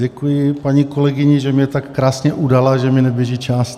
Děkuji paní kolegyni, že mě tak krásně udala, že mně neběží čas.